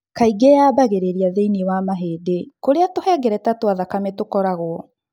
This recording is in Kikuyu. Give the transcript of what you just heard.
Kaingĩ yambagĩrĩria thĩinĩ wa mahĩndĩ kũrĩa tũhengereta twa thakame tũkoragwo.